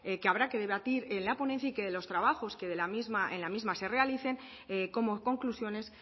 que habrá que debatir en la ponencia y que de los trabajos que en la misma se realicen como conclusiones